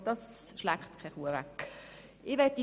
Dies ist wohl nicht von der Hand zu weisen.